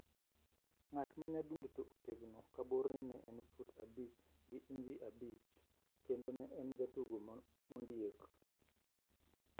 Ng`at ma nyadundo to otegno ka borne ne en fut abich gi inj abich kendo ne en jatugo mondiek.